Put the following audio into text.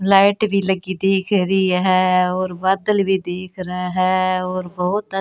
light भी लगी दिख रही है और बादल भी दिख रहे है और बहुत --